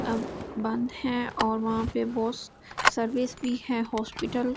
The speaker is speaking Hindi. अब बंद है और वहां पे बॉस सर्विस भी है हॉस्पिटल सि --